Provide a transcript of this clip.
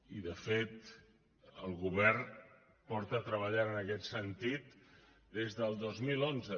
i de fet el govern ha estat treballant en aquest sentit des del dos mil onze